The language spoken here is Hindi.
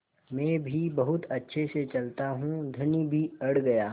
मैं भी बहुत अच्छे से चलता हूँ धनी भी अड़ गया